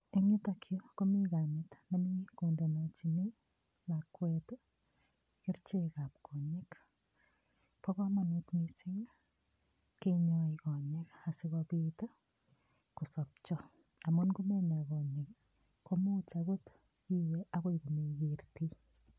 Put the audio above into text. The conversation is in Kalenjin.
Eng yutok yu komi kamet nemi kondenechini lakwet kerichekab konyek. Bo kamanut mising kenyoi konyek asigopit ii kosopcho amun ngomenya konyek komuch agot iwe agoi komegertei.